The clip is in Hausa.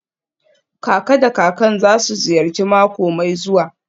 Kaka da kakan za su ziyarci mako mai zuwa.